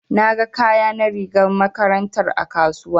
Na ga kaya na rigar makarantar a kasuwa.